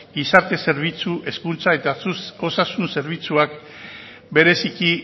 gizarte zerbitzu hezkuntza eta osasun zerbitzuak bereziki